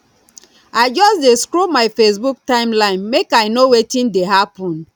i just dey scroll my facebook timeline make i know wetin dey happen